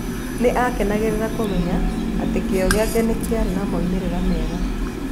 Nĩ akenagĩra kũmenya atĩ kĩyo gĩake nĩ kĩraarĩ na moimĩrĩro mega.